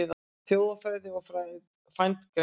Þjóðfræði og frændgreinar